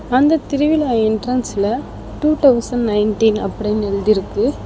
அந்த திருவிழா என்ட்ரன்ஸ்ல டூ தௌஸன் நைன்டீன் அப்டினு எழுதிருக்கு.